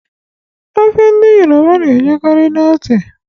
Ofe ndị yoroba na-ejukarị n'ose